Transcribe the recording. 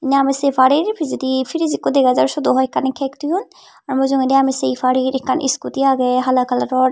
indi ami sey parir pijedi fridge ekko dega jar syot o hoi ekkani cake thoyun aa mujungedi ami sey parir ekkan scooty agey hala colouror.